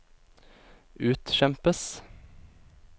utkjempes